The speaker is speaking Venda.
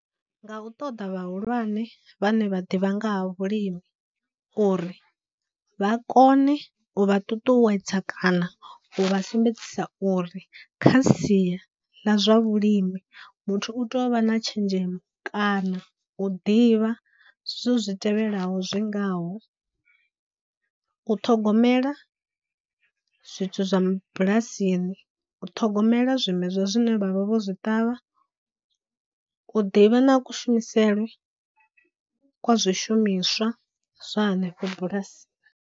Nga u ṱoḓa vhahulwane vhane vha ḓivha nga ha vhulimi uri vha kone u vha ṱuṱuwedza kana u vha sumbedzisa uri kha sia ḽa zwa vhulimi muthu u tea u vha na tshenzhemo kana u ḓivha zwithu zwi tevhelaho zwi ngaho, u ṱhogomela zwithu zwa bulasini, u ṱhogomela zwimedzwa zwine vha vha vho zwi ṱavha, u ḓivha na kushumisele kwa zwishumiswa zwa hanefho bulasini.